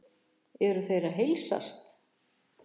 Eru þeir að heilsast?